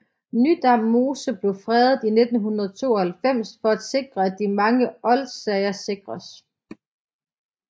Nydam Mose blev fredet i 1992 for at sikre at de mange oldsager sikres